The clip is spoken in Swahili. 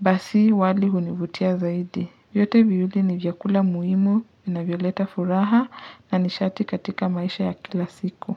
basi wali hunivutia zaidi. Vyote viwili ni vyakula muhimu, vinavyoleta furaha na nishati katika maisha ya kila siku.